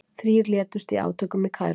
Þrír létust í átökum í Kaíró